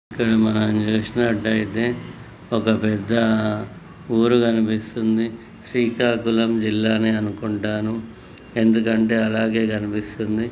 మనం చూసినట్టయితే ఒక పెద్ద ఊరు కనిపిస్తుంది శ్రీకాకుళం జిల్లా నే అనుకుంటాను ఎందుకంటే అలాగే కనిపిస్తుంది.